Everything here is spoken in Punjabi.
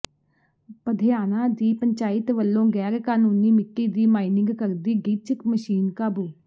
ਪਧਿਆਣਾ ਦੀ ਪੰਚਾਇਤ ਵੱਲੋਂ ਗੈਰ ਕਾਨੂੰਨੀ ਮਿੱਟੀ ਦੀ ਮਾਈਨਿੰਗ ਕਰਦੀ ਡਿੱਚ ਮਸ਼ੀਨ ਕਾਬੂ